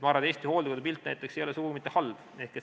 Ma arvan, et Eesti hooldekodude pilt näiteks ei ole sugugi mitte halb.